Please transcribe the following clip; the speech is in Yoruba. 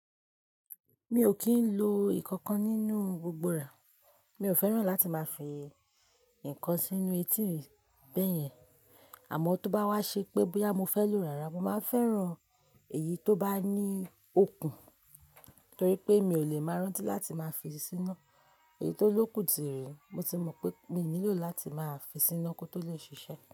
Mi o kin lo nkankan nínú gbogbo rẹ, mi o fẹ́ràn láti máa fi ǹkan sínú etí mi bẹyẹn. Àmọ tó bá wá ṣe pé bóyá mo fẹ́ lo rárá mo máa ń fẹ́ràn èyí tó bá ní okùn, torí pé mi ò lè máa rántí láti máa fi síná. Èyí tó lókùn tiri, mo ti mọ̀ pé mi n nílò láti máa fi síná kó tó lè ṣiṣẹ́.